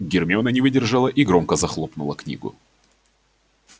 гермиона не выдержала и громко захлопнула книгу